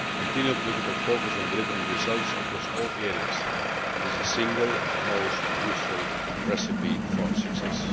Continued political focus on delivering results across all areas is the single most useful recipe for success.